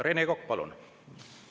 Rene Kokk, palun!